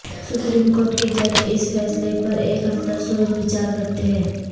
supreme court کے جج اس فیصلے پر ایک ہفتہ سوچ بچار کرتے رہے